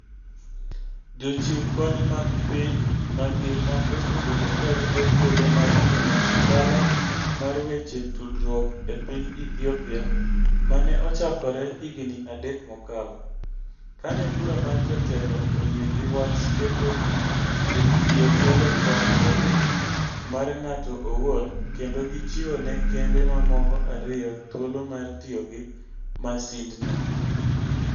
Jochiw kony mag piny mangima osebedo ka rito thuolo mar timo ohala mar weche tudruok e piny Ethiopia ma ne ochakore higini adek mokalo, kane Bura mar Jotelo oyie gi wach keto Ethio Telecom obed mar ng'ato owuon, kendo gichiwo ne kembe mamoko ariyo thuolo mar tiyo gi masindno.